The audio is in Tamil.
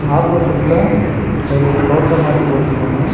ஆப்போசிட்ல ஒரு தோட்டம் மாரி போட்ருக்காங்க.